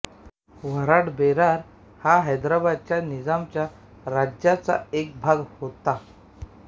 वऱ्हाडबेरार हा हैदराबादच्या निजामाच्या राज्याचा एक भाग होता